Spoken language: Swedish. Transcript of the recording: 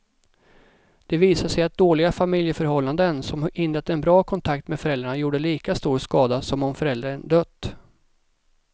Det visade sig att dåliga familjeförhållanden som hindrat en bra kontakt med föräldrarna gjorde lika stor skada som om föräldern dött.